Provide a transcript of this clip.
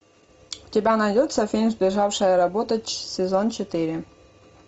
у тебя найдется фильм сбежавшая работа сезон четыре